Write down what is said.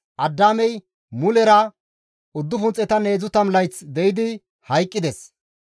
Addaamey mulera 930 layth de7idi hayqqides.